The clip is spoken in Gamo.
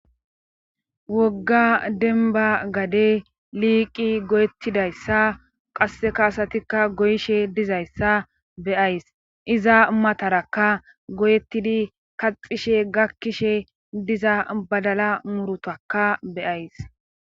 Wogga denba gade liiqi goyettidayssa qasse kaasatikka goyishe dizayssa beyays iza matarakka goyettidi kaxishe gakkishe diza badala murutakka beyays.